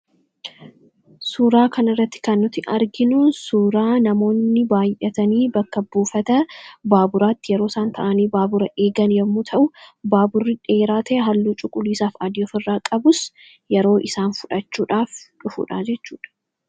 Suuraa kanarratti kan nuti arginu suuraa namoonni baay'atanii bakka buufata baaburaatti yeroo isaan baabura eegan yoo ta'u, baaburri dheeraa ta'e halluu cuquliisaa fi adii ofirraa qabus yeroo isaan fudhachuudhaaf dhufudha jechuudha.